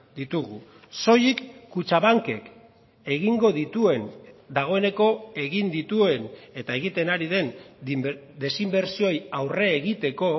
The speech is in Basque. ditugu soilik kutxabankek egingo dituen dagoeneko egin dituen eta egiten ari den desinbertsioei aurre egiteko